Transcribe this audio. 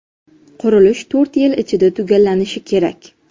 Qurilish to‘rt yil ichida tugallanishi kerak.